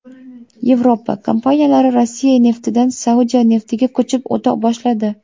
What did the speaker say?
Yevropa kompaniyalari Rossiya neftidan Saudiya neftiga ko‘chib o‘ta boshladi.